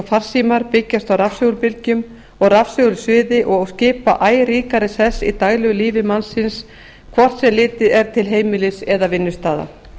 farsímar byggjast á rafsegulbylgjum og rafsegulsviði og skipa æ ríkari sess í daglegu lífi mannsins hvort sem litið er til heimilis eða vinnustaða